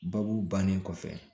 Babu bannen kɔfɛ